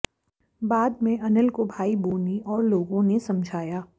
बाद में अनिल को भाई बोनी और लोगों ने समझाया